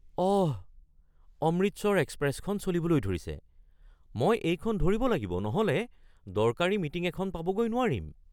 অহ! অমৃতসৰ এক্সপ্ৰেছখন চলিবলৈ ধৰিছে। মই এইখন ধৰিব লাগিব নহ’লে দৰকাৰী মিটিং এখন পাবগৈ নোৱাৰিম!